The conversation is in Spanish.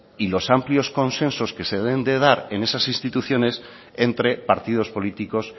y los amplios consensos que se deben de dar en esas instituciones entre partidos políticos